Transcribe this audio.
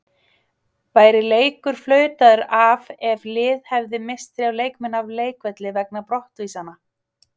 Væri leikur flautaður af ef lið hefði misst þrjá leikmenn af leikvelli vegna brottvísana?